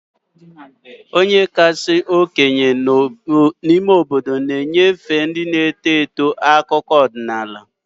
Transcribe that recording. Onye kasị okenye n'ime obodo ga-enyefe ndị na-eto eto akụkọ ọdịnala